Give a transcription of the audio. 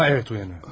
Ha, evət, oyanır.